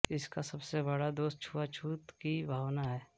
इसका सबसे बङा दोष छुआछुत की भावना है